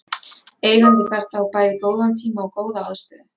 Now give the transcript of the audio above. Eigandinn þarf að hafa bæði góðan tíma og góða aðstöðu.